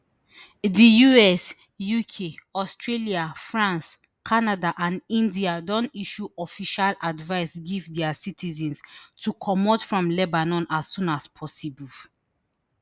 di us uk australia france canada and india don issue official advice give dia citizens to comot from lebanon as soon as possible